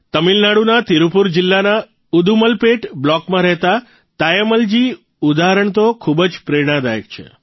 તમિલનાડુના તિરૂપુર જીલ્લાના ઉદુમલપેટ બ્લોકમાં રહેતા તાયમ્મલજીનું ઉદાહરણ તો ખૂબ જ પ્રેરણાદાયક છે